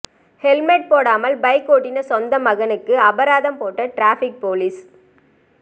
helmet போடாமல் bike ஓட்டிய சொந்த மகனுக்கு அபராதம் போட்ட டிராபிக் போலீஸ்